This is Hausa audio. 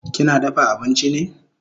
Kina dafa abinchi ne?